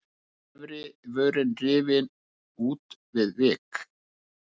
Efri vörin rifin út við vik.